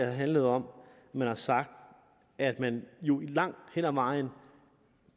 har handlet om at man har sagt at man i jo langt hen ad vejen